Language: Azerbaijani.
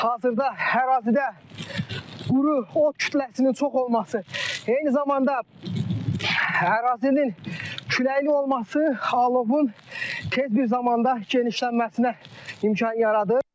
Hazırda ərazidə quru ot kütləsinin çox olması, eyni zamanda ərazinin küləkli olması alovun tez bir zamanda genişlənməsinə imkan yaradır.